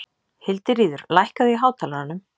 Hildiríður, lækkaðu í hátalaranum.